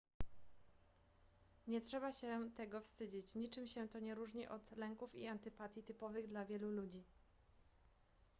nie trzeba się tego wstydzić niczym się to nie różni od lęków i antypatii typowych dla wielu ludzi